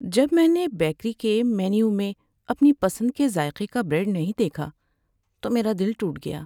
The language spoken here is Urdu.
جب میں نے بیکری کے مینیو میں اپنی پسند کے ذائقے کا بریڈ نہیں دیکھا تو میرا دل ٹوٹ گیا۔